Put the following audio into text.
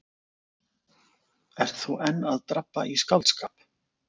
Ert þú enn að drabba í skáldskap?